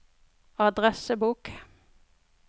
adressebok